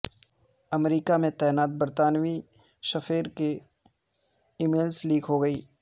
امریکا میں تعینات برطانوی سفیر کی ای میلز لیک ہو گئیں